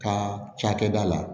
Ka cakɛda la